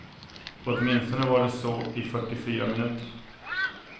Åtminstone var det så i fyrtiofyra minuter.